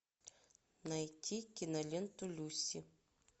найти киноленту люси